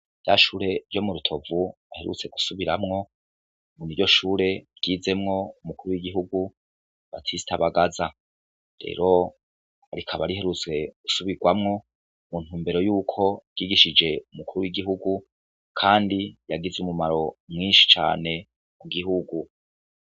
Rya shure ryo mu rutovu baherutse gusubiramwo niryo shure ryizemwo umukuru w'igihugu batista bagaza, rero rikaba riherutse gusubirwamwo mu ntumbero yuko ryigishije umukuru w'igihugu kandi yagize ubumaro bwinshi cane mu gihugu.